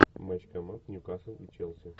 матч команд ньюкасл и челси